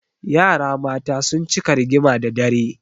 Yara mata sun cika rigima da dare.